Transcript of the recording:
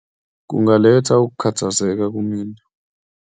Kungaletha ukukhathazeka kumina.